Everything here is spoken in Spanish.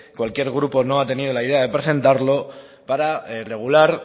cualquier grupo no ha tenido la idea de presentarlo para regular